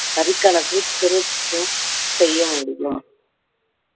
வரிக் கணக்கு திருத்தம் செய்ய முடியும்